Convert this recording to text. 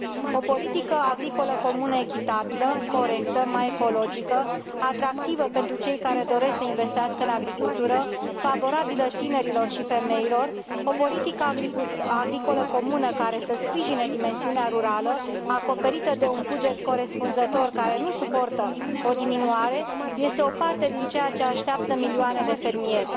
O politică agricolă comună echitabilă, corectă, mai ecologică, atractivă pentru cei care doresc să investească în agricultură, favorabilă tinerilor și femeilor, o politică agricolă comună care să sprijine dimensiunea rurală, acoperită de un buget corespunzător, care nu suportă o diminuare, este o parte din ceea ce așteaptă milioane de fermieri.